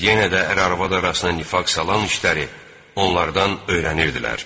Yenə də ər-arvad arasına nifaq salan işləri onlardan öyrənirdilər.